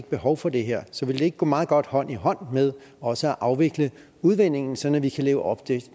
behov for det her så vil det ikke gå meget godt hånd i hånd med også at afvikle udvindingen sådan at vi kan leve op